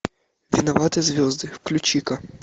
виноваты звезды включи ка